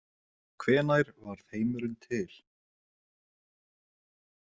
Hvenær varð heimurinn til?